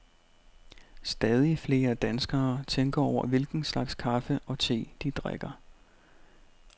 Stadig flere danskere tænker over hvilken slags kaffe og te, de drikker.